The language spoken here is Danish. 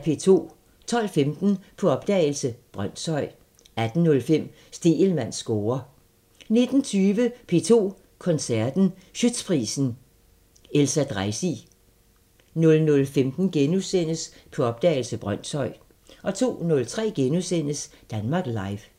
12:15: På opdagelse – Brønshøj 18:05: Stegelmanns score 19:20: P2 Koncerten – Schiøtzprisen – Elsa Dreisig 00:15: På opdagelse – Brønshøj * 02:03: Danmark Live *